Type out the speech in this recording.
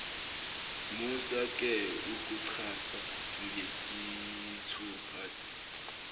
musake ukucasha ngesithupha